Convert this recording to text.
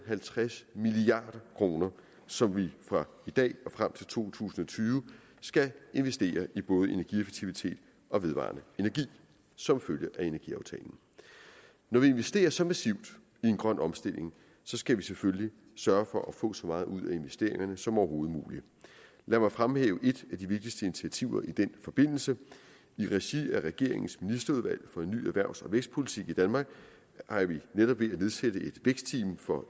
halvtreds milliard kr som vi fra i dag og frem til to tusind og tyve skal investere i både energieffektivitet og vedvarende energi som følge af energiaftalen når vi investerer så massivt i en grøn omstilling skal vi selvfølgelig sørge for at få så meget ud af investeringerne som overhovedet muligt lad mig fremhæve et af de vigtigste initiativer i den forbindelse i regi af regeringens ministerudvalg for en ny erhvervs og vækstpolitik i danmark er vi netop ved at nedsætte et vækstteam for